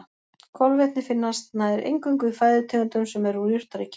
Kolvetni finnast nær eingöngu í fæðutegundum sem eru úr jurtaríkinu.